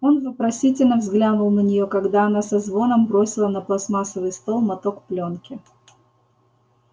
он вопросительно взглянул на неё когда она со звоном бросила на пластмассовый стол моток плёнки